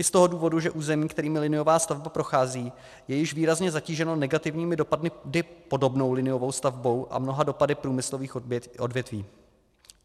I z toho důvodu, že území, kterým liniová stavba prochází, je již výrazně zatíženo negativními dopady podobnou liniovou stavbou a mnoha dopady průmyslových odvětví.